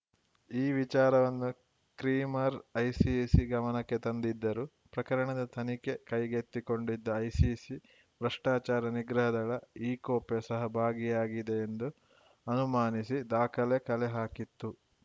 ಈ ವಿಚಾರವನ್ನು Cremer ICC ಗಮನಕ್ಕೆ ತಂದಿದ್ದರು ಪ್ರಕರಣದ ತನಿಖೆ ಕೈಗೆತ್ತಿಕೊಂಡಿದ್ದ ಐಸಿಸಿ ಭ್ರಷ್ಟಾಚಾರ ನಿಗ್ರಹ ದಳ ಇಕೊಪೆ ಸಹ ಭಾಗಿಯಾಗಿದೆ ಎಂದು ಅನುಮಾನಿಸಿ ದಾಖಲೆ ಕಲೆಹಾಕಿತ್ತು